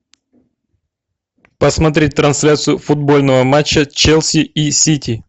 посмотреть трансляцию футбольного матча челси и сити